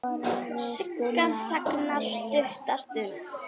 Sigga þagnar stutta stund.